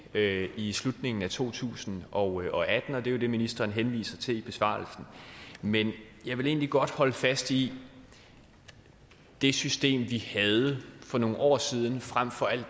i slutningen af to tusind og atten og det er jo det ministeren henviser til i besvarelsen men jeg vil egentlig godt holde fast i det system vi havde for nogle år siden frem for at